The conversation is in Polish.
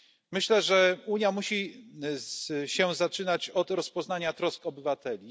Myślę, że Unia musi się zaczynać od rozpoznania trosk obywateli.